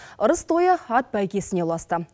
ырыс тойы ат бәйгесіне ұласты